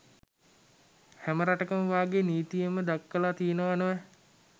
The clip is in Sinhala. හැම රටකම වාගේ නිතීයෙන්ම දක්වලා තියෙනවා නොවැ